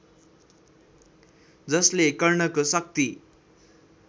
जसले कर्णको शक्ति